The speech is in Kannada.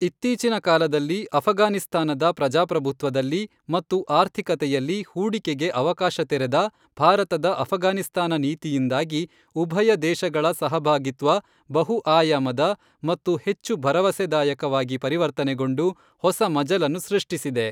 ಇತ್ತೀಚಿನ ಕಾಲದಲ್ಲಿ ಅಫಘಾನಿಸ್ತಾನದ ಪ್ರಜಾಪ್ರಭುತ್ವದಲ್ಲಿ ಮತ್ತು ಆರ್ಥಿಕತೆಯಲ್ಲಿ ಹೂಡಿಕೆಗೆ ಅವಕಾಶ ತೆರೆದ ಭಾರತದ ಅಪಘಾನಿಸ್ತಾನ ನೀತಿಯಿಂದಾಗಿ ಉಭಯ ದೇಶಗಳ ಸಹಭಾಗಿತ್ವ ಬಹು ಆಯಾಮದ ಮತ್ತು ಹೆಚ್ಚು ಭರವಸೆದಾಯಕ ವಾಗಿ ಪರಿವರ್ತನೆಗೊಂಡು ಹೊಸ ಮಜಲನ್ನು ಸೃಷ್ಟಿಸಿದೆ.